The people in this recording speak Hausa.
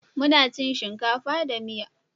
Muna cin shinkafa da miya.